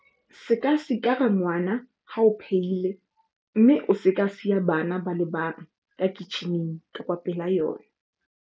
Se ka sikara ngwana ha o phehile mme o se ka siya bana ba le bang ka kitjhining kapa pela yona.